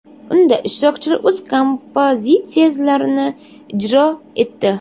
Unda ishtirokchilar o‘z kompozitsiyalarini ijro etdi.